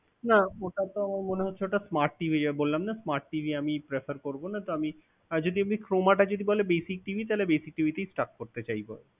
না ওটা তো মনে হচ্ছে ওটা smart TV বললাম না smart TV আমি prefer করব না। তো আমি আমি যদি Croma টা যদি বলে basic TV তাহলে basic TV তে ই Stuck করতে চাইব।